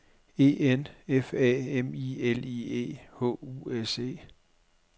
E N F A M I L I E H U S E